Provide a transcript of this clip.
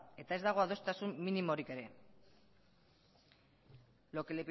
eta ez dago adostasun minimorik ere lo que